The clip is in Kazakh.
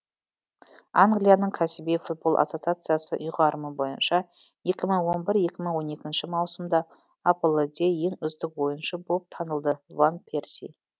англияның кәсіби футбол ассосациясы ұйғарымы бойынша екі мың он бір екі мың он екінші маусымда апл де ең үздік ойыншы болып танылды ван перси